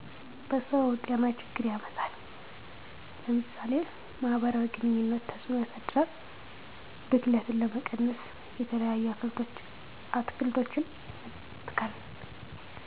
በሰዉ ጤናችግር ያመጣል ለምሳሌ ማህበራዊ ግኑኝነት ተፅእኖ ያሳድራል ብክለትን ለመቀነስ የተለያዪ አትክልቶችን መትከል።